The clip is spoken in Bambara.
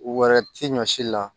Wɛrɛ ti ɲɔsi la